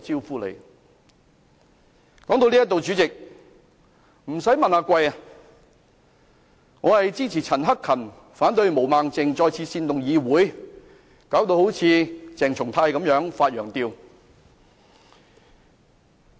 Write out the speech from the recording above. "說在這裏，主席，不用問，我是支持陳克勤議員，反對毛孟靜議員再次煽動議會，弄得好像鄭松泰議員般"發羊吊"。